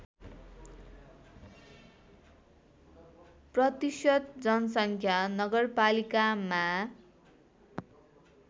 प्रतिशत जनसङ्ख्या नगरपालिकामा